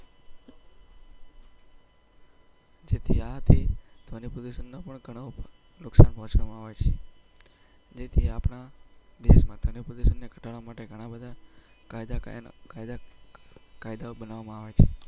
ત્યાં થી ધોની પ્રદર્શનો પણ ઘણું મહત્વ હોય છે. ને ઘટાડવા માટે ઘણા બધા.